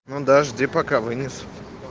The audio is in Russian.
ну дожди пока вынесу